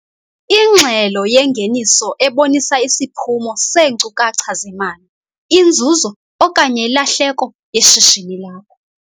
Ingxelo yengeniso ebonisa isiphumo seenkcukacha zemali - inzuzo okanye ilahleko yeshishini lakho.